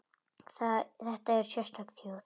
Þetta er sérstök þjóð.